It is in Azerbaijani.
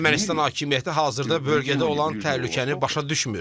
Ermənistan hakimiyyəti hazırda bölgədə olan təhlükəni başa düşmür.